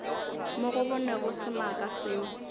mo go bonwego semaka seo